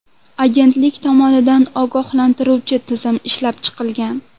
Agentlik tomonidan ogohlantiruvchi tizim ishlab chiqilgan.